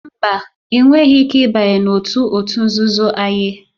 Mba, ị nweghị ike ịbanye n'otu òtù nzuzo Aye